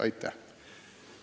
Aitäh!